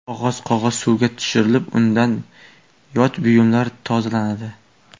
Qog‘oz Qog‘oz suvga tushirilib, undan yot buyumlar tozalanadi.